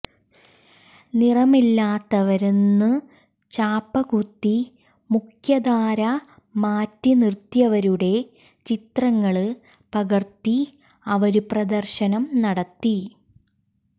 നിറമില്ലാത്തവരെന്നു ചാപ്പകുത്തി മുഖ്യധാര മാറ്റി നിര്ത്തിയവരുടെ ചിത്രങ്ങള് പകര്ത്തി അവര് പ്രദര്ശനം നടത്തി